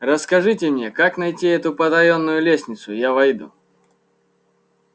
расскажите мне как найти эту потаённую лестницу я войду